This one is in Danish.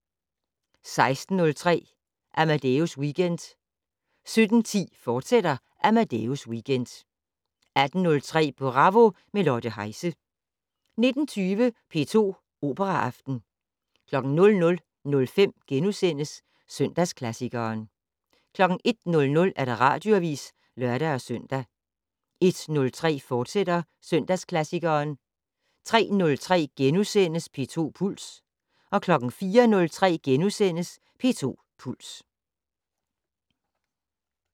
16:03: Amadeus Weekend 17:10: Amadeus Weekend, fortsat 18:03: Bravo - med Lotte Heise 19:20: P2 Operaaften 00:05: Søndagsklassikeren * 01:00: Radioavis (lør-søn) 01:03: Søndagsklassikeren, fortsat 03:03: P2 Puls * 04:03: P2 Puls *